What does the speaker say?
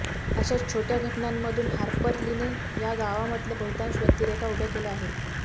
अशा छोटय़ा घटनांमधून हार्पर लीने या गावामधल्या बहुतांश व्यक्तिरेखा उभ्या केल्या आहेत